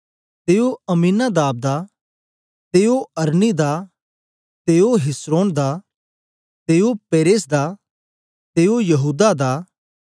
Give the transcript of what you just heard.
ते ओ अम्मीनादाब दा ते ओ अरनी दा ते ओ हिस्रोन दा ते ओ पेरेस दा ते ओ यहूदा दा